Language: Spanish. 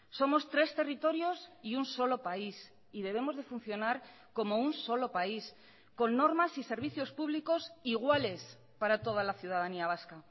somos tres territorios y un solo país y debemos de funcionar como un solo país con normas y servicios públicos iguales para toda la ciudadanía vasca